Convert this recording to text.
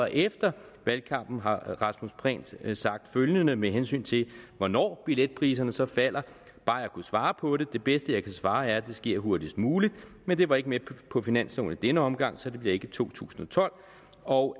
efter valgkampen har herre rasmus prehn sagt følgende med hensyn til hvornår billetpriserne så falder bare jeg kunne svare på det det bedste jeg kan svare er at det sker hurtigst muligt men det var ikke med på finansloven i denne omgang så det bliver ikke i to tusind og tolv og